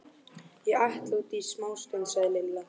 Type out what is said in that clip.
Ég ætla út í smástund, sagði Lilla.